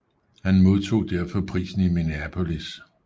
Han modtog derfor prisen i Minneapolis